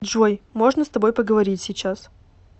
джой можно с тобой поговорить сейчас